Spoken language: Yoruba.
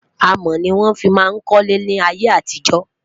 amò ní wọn fí má kólé láyé àtijọ